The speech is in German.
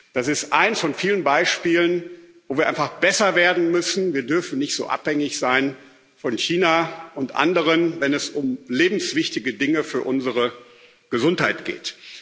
Das ist eines von vielen Beispielen, wo wir einfach besser werden müssen Wir dürfen nicht so abhängig sein von China und anderen, wenn es um lebenswichtige Dinge für unsere Gesundheit geht.